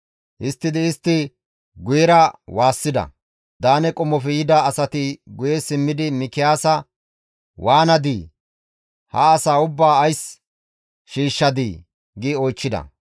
Histtidi istti guyera waassida; Daane qommofe yida asati guye simmidi Mikiyaasa, «Waanadii? Ha asaa ubbaa ays shiishshadii?» gi oychchida.